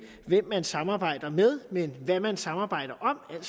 hvem man samarbejder med men hvad man samarbejder om